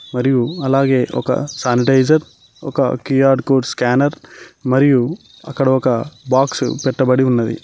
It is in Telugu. మరి అలాగే ఒక శానిటైజర్ ఒక క్యూ_ఆర్ కోడ్ స్కానర్ మరియు అక్కడ ఒక బాక్స్ పెట్టబడి ఉన్నది.